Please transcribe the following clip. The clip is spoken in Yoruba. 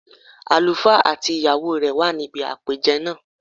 Àlùfá àti ìyàwó rẹ̀ wà níbi àpèjẹ náà